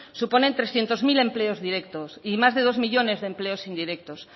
supone trescientos mil empleos directos y más de dos millónes de empleos indirectos